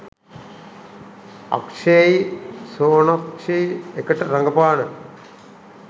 අක්ෂේයි සෝනක්ෂියි එකට රඟපාන